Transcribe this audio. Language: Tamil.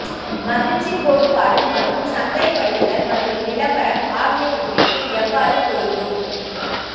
மகிழ்ச்சிக் கோட்பாடு மற்றும் சந்தைப்படுத்தல் மற்றும் விளம்பரம் ஆகியவற்றிற்கு எவ்வாறு பொருந்தும்